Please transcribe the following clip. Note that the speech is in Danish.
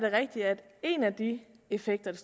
rigtigt at en af de effekter